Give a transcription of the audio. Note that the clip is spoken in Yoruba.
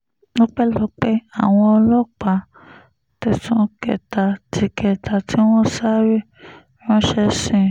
ọpẹ́lọpẹ́ àwọn ọlọ́pàá tẹ̀sán kẹta tí kẹta tí wọ́n sáré ránṣẹ́ sí